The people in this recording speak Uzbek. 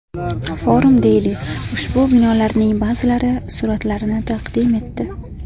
Forum Daily ushbu binolarning ba’zilari suratlarini taqdim etdi .